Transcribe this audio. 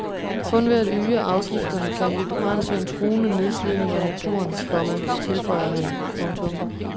Kun ved at øge afgifterne kan vi begrænse en truende nedslidning af naturen, komma tilføjer han. punktum